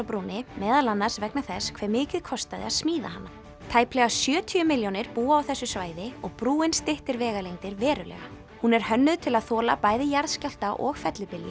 brúnni meðal annars vegna þess hve mikið kostaði að smíða hana tæplega sjötíu milljónir búa á þessu svæði og brúin styttir vegalengdir verulega hún er hönnuð til að þola bæði jarðskjálfta og